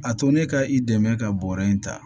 A to ne ka i dɛmɛ ka bɔrɔ in ta